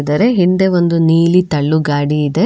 ಇದರ ಹಿಂದೆ ಒಂದು ನೀಲಿ ತಳ್ಳು ಗಾಡಿ ಇದೆ.